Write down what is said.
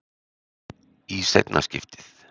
Í seinna skiptið.